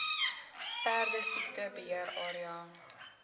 perdesiekte beheer area